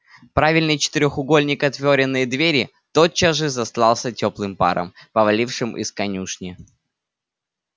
правильный четырёхугольник отворенной двери тотчас же застлался тёплым паром повалившим из конюшни